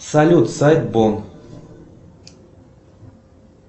салют сайт бон